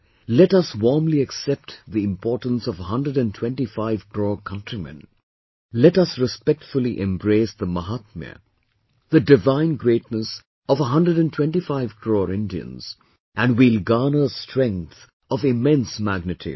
Let us warmly accept the importance of a hundred & twenty five crore countrymen, let us respectfully embrace the Mahaatmya, the divine greatness of a hundred & twenty five crore Indians and we'll garner strength of immense magnitude